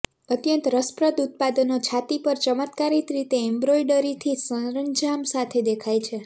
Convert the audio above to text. અત્યંત રસપ્રદ ઉત્પાદનો છાતી પર ચમત્કારિક રીતે એમ્બ્રોઇડરીથી સરંજામ સાથે દેખાય છે